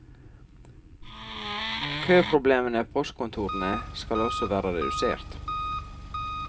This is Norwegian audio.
Køproblemene ved postkontorene skal også være redusert.